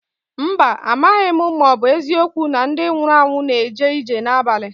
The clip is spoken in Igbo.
Mba, amaghị m ma ọ bụ eziokwu na ndị nwụrụ anwụ na-eje ije n'abalị.